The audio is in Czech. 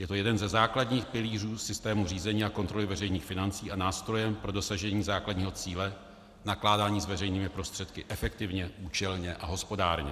Je to jeden ze základních pilířů systému řízení a kontroly veřejných financí a nástroj pro dosažení základního cíle nakládání s veřejnými prostředky efektivně, účelně a hospodárně.